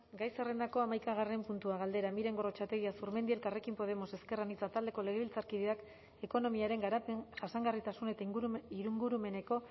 gai zerrendako hamaikagarren puntua galdera miren gorrotxategi azurmendi elkarrekin podemos ezker anitza taldeko legebiltzarkideak ekonomiaren garapen jasangarritasun eta ingurumeneko